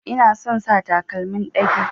Ina son sa takalmin ɗage.